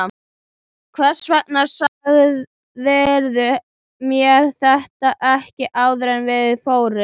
Hvers vegna sagðirðu mér þetta ekki áður en við fórum?